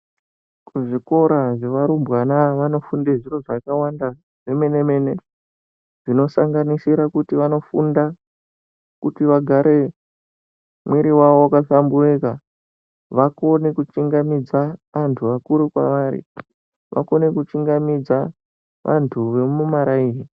Kuzvikora zvevarumbwana vanofunda zviro zvakawanda zvemene-mene, zvinosanganisira kuti vanofunda kuti vagare mwiri wavo wakahlamburika, vakone kuchingamidza vanthu vakuru kwevari, vakone kuchingamidza vantu vemumaraini.